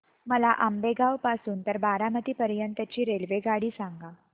मला आंबेगाव पासून तर बारामती पर्यंत ची रेल्वेगाडी सांगा